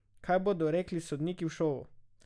Kaj pa bodo rekli sodniki v šovu?